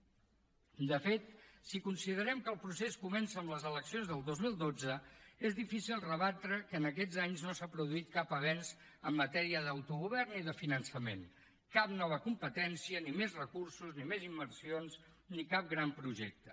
i de fet si considerem que el procés comença amb les eleccions del dos mil dotze és difícil rebatre que en aquests anys no s’ha produït cap avenç en matèria d’autogovern ni de finançament cap nova competència ni més recursos ni més inversions ni cap gran projecte